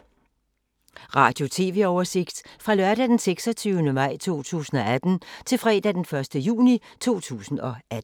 Radio/TV oversigt fra lørdag d. 26. maj 2018 til fredag d. 1. juni 2018